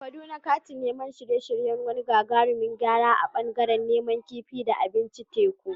A Kaduna, kantin na shirye-shiryen wani gagarumin gyara a ɓangaren nama, kifi, da abincin teku.